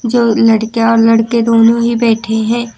जो लड़कियां और लड़के दोनों ही बैठे हैं।